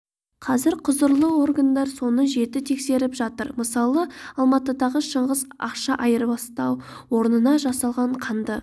қазір құзырлы органдар соны жіті тексеріп жатыр мысалы алматыдағы шыңғыс ақша айырбастау орнына жасалған қанды